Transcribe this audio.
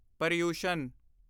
Paryushan